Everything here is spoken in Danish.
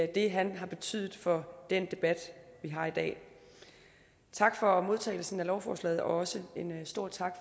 det han har betydet for den debat vi har i dag tak for modtagelsen af lovforslaget og også en stor tak